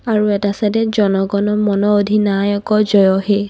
আৰু এটা চাইদ এ জন গন মন অধিনায়েক জয় হে.